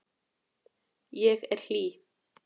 Ég er hlý.